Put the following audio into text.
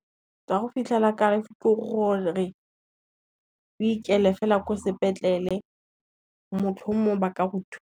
Tsa go fitlhela ekare ke , o ikele fela ko sepetlele motlhomong ba ka o thusa.